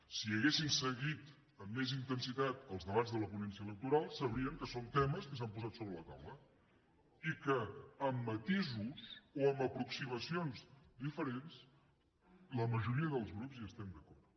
si haguessin seguit amb més intensitat els debats de la ponència electoral sabrien que són temes que s’han posat sobre la taula i que amb matisos o amb aproximacions diferents la majoria dels grups hi estem d’acord